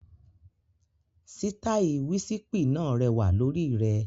Sítáì wísípì náà rẹwà lórí rẹ.